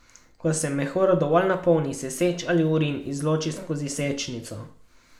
Ko se mehur dovolj napolni, se seč ali urin izloči skozi sečnico.